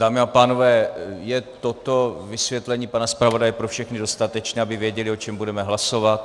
Dámy a pánové, je toto vysvětlení pana zpravodaje pro všechny dostatečné, aby věděli, o čem budeme hlasovat?